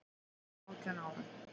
Þá var ég átján ára.